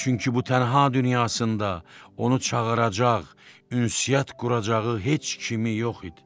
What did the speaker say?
Çünki bu tənha dünyasında onu çağıracaq, ünsiyyət quracağı heç kimi yox idi.